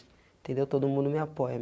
Entendeu todo mundo me apoia.